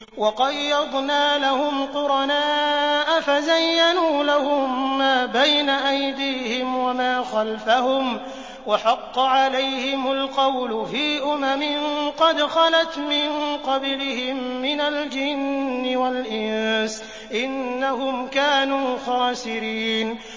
۞ وَقَيَّضْنَا لَهُمْ قُرَنَاءَ فَزَيَّنُوا لَهُم مَّا بَيْنَ أَيْدِيهِمْ وَمَا خَلْفَهُمْ وَحَقَّ عَلَيْهِمُ الْقَوْلُ فِي أُمَمٍ قَدْ خَلَتْ مِن قَبْلِهِم مِّنَ الْجِنِّ وَالْإِنسِ ۖ إِنَّهُمْ كَانُوا خَاسِرِينَ